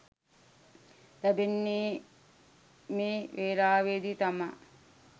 ලැබෙන්නේ මේ වෙලාවේදී තමා.